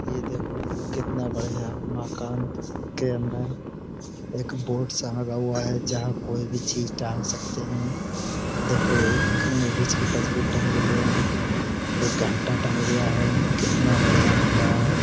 ये देखो कितना बढ़िया मकान के अंदर एक बोर्ड सा लगा हुआ है जहाँ कोई भी चीज टांग सकते हैं। देखो एक लेडीज़ की तस्वीर टंग रही है एक घंटा टंग रिहा है कितना बढ़िया लग रहा है।